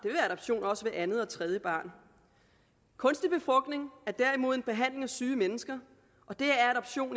også af andet og tredje barn kunstig befrugtning er derimod en behandling af syge mennesker det er adoption